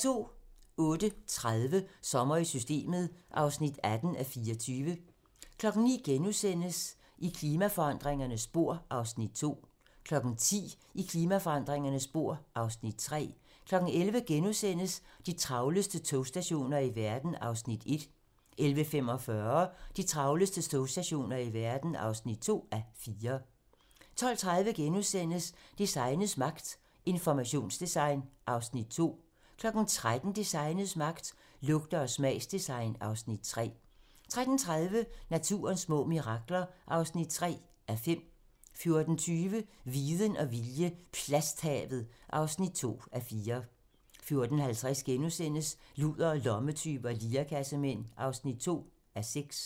08:30: Sommer i Systemet (18:24) 09:00: I klimaforandringernes spor (Afs. 2)* 10:00: I klimaforandringernes spor (Afs. 3) 11:00: De travleste togstationer i verden (1:4)* 11:45: De travleste togstationer i verden (2:4) 12:30: Designets magt - Informationsdesign (Afs. 2)* 13:00: Designets magt - Lugte- og smagsdesign (Afs. 3) 13:30: Naturens små mirakler (3:5) 14:20: Viden og vilje - plasthavet (2:4) 14:50: Ludere, lommetyve og lirekassemænd (2:6)*